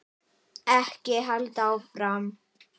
Ekki halda áfram.